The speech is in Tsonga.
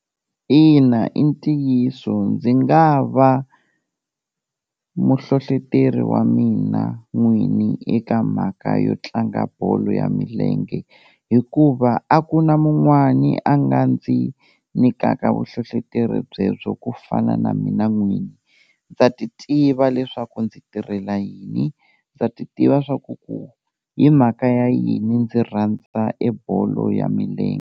Ina i ntiyiso, ndzi nga va muhlohleteri wa mina n'wini eka mhaka yo tlanga bolo ya milenge hikuva a ku na mun'wani a nga ndzi nyikaka vuhlohloteri byebyo ku fana na mina n'wini, ndza ti tiva leswaku ndzi tirhela yini ndza ti tiva swaku ku hi mhaka ya yini ndzi rhandza e bolo ya milenge.